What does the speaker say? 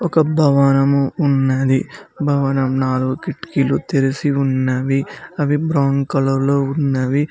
ఒక భవనము ఉన్నది భవనం నాలుగు కిటికీలు తెరిసి ఉన్నవి అవి బ్రౌన్ కలర్ లో ఉన్నవి.